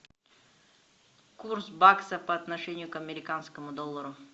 курс бакса по отношению к американскому доллару